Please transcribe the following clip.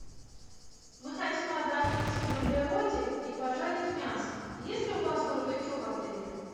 мы хотим отдохнуть на природе и пожарить мясо есть ли у вас барбекю в отеле